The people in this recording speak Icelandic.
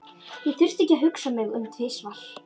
Ég þurfti ekki að hugsa mig um tvisvar.